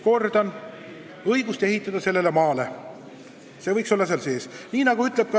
Kordan: õigus ehitada sellele maale võiks nõudena eelnõus sees olla.